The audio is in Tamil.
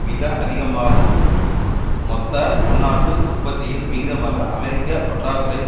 மிக அதிகமாகு மொத்த உள்நாட்டு உற்பத்தியில் விகிதமாக அமெரிக்க பற்றாக்குறை